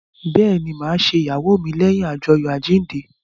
Bẹẹni, ma ṣe ìyàwó mi leyin ajoyo àjíǹde